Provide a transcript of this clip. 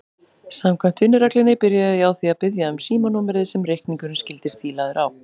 Samkvæmt vinnureglunni byrjaði ég á því að biðja um símanúmerið sem reikningurinn skyldi stílaður á.